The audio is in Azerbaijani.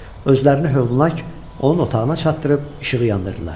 Özlərini hövlnak onun otağına çatdırıb işığı yandırdılar.